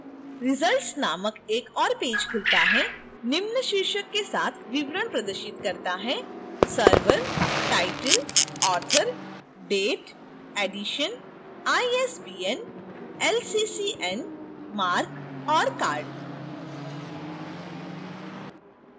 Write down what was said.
results नामक एक और पेज खुलता है निम्न शीर्षक के साथ विवरण प्रदर्शित करता है